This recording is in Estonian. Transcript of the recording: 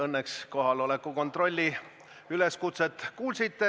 Õnneks kohaloleku kontrolli üleskutset te kuulsite.